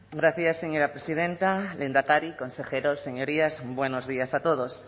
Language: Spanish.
gracias señora presidenta lehendakari consejeros señorías buenos días a todos